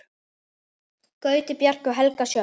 Gauti, Bjarki og Helga Sjöfn.